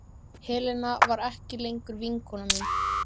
Helena var ekki lengur vinkona mín.